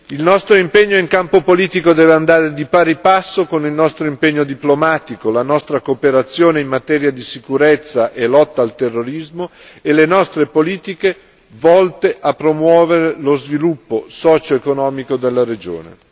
Il nostro impegno in campo politico deve andare di pari passo con il nostro impegno diplomatico, la nostra cooperazione in materia di sicurezza e lotta al terrorismo e le nostre politiche volte a promuovere lo sviluppo socioeconomico della regione.